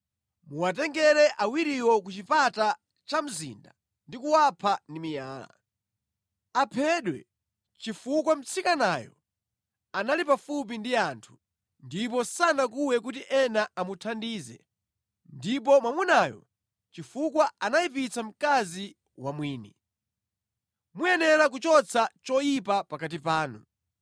muwatengere awiriwo ku chipata cha mzinda ndi kuwapha ndi miyala. Aphedwe chifukwa mtsikanayo anali pafupi ndi anthu ndipo sanakuwe kuti ena amuthandize ndipo mwamunayo chifukwa anayipitsa mkazi wa mwini. Muyenera kuchotsa choyipa pakati panu.